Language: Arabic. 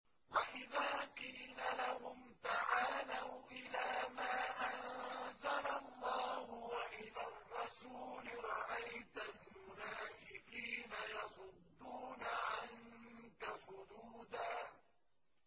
وَإِذَا قِيلَ لَهُمْ تَعَالَوْا إِلَىٰ مَا أَنزَلَ اللَّهُ وَإِلَى الرَّسُولِ رَأَيْتَ الْمُنَافِقِينَ يَصُدُّونَ عَنكَ صُدُودًا